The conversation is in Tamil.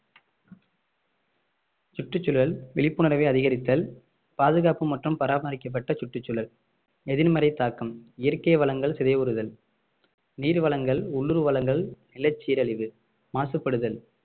சுற்றுச்சூழல் விழிப்புணர்வை அதிகரித்தல் பாதுகாப்பு மற்றும் பராமரிக்கப்பட்ட சுற்றுச்சூழல் எதிர்மறை தாக்கம் இயற்கை வளங்கள் சிதைவுறுதல் நீர் வளங்கள் உள்ளூர் வளங்கள் நிலச்சீரழிவு மாசுபடுதல்